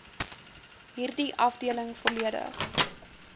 hierdie afdeling volledig